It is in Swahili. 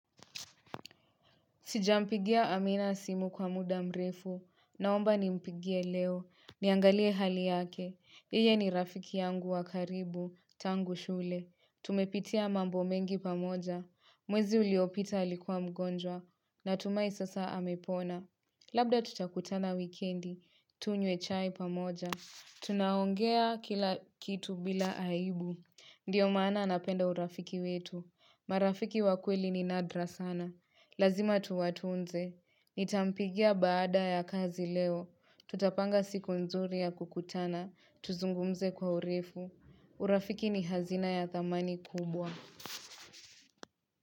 Sijampigia amina simu kwa muda mrefu. Naomba nimpigie leo. Niangalie hali yake. Yeye ni rafiki yangu wa karibu. Tangu shule. Tumepitia mambo mengi pamoja. Mwezi uliopita alikuwa mgonjwa. Na tumai sasa amepona. Labda tutakutana wikendi. Tunywe chai pamoja. Tunaongea kila kitu bila aibu Ndiyo maana anapenda urafiki wetu marafiki wa ukweli ni nadra sana Lazima tuwatunze. Nitampigia baada ya kazi leo tutapanga siku nzuri ya kukutana Tuzungumze kwa urefu. Urafiki ni hazina ya thamani kubwa.